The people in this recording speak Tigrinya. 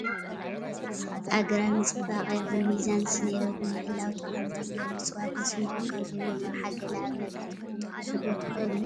ኣግራብ ንፅባቐ ይኹን ሚዛን ስነ ህይወት ንምሕላው ጠቐምቲ እዮም፡፡ እፅዋት ንስነ ህይወት ካብ ዝህብዎ ረብሓ ገለ ኣብነታት ክትጠቕሱ ዶ ትኽእሉ?